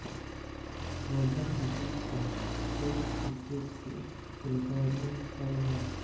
محمد حفیظ کا test cricket سے retirement کا اعلان